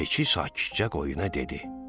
Keçi sakitcə qoyuna dedi.